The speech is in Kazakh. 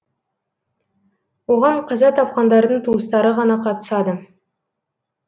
оған қаза тапқандардың туыстары ғана қатысады